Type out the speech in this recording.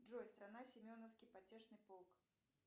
джой страна семеновский потешный полк